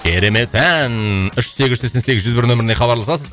керемет ән үш сегіз сексен сегіз жүз бір нөміріне хабарласасыз